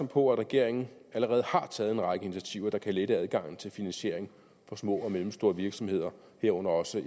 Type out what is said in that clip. på at regeringen allerede har taget en række initiativer der kan lette adgangen til finansiering for små og mellemstore virksomheder herunder også